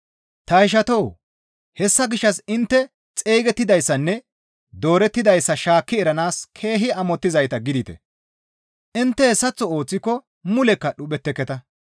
Ta ishatoo! Hessa gishshas intte xeygettidayssanne doorettidayssa shaakki eranaas keehi amottizayta gidite; intte hessaththo ooththiko mulekka dhuphetteketa.